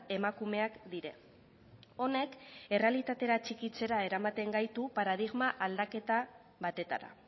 emakumeak dira honek errealitatera atxikitzera eramaten gaitu paradigma aldaketa batetara